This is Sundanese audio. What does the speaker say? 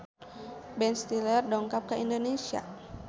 Ben Stiller dongkap ka Indonesia